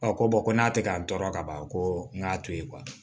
ko ko n'a tɛ ka tɔɔrɔ ka ban ko n k'a to ye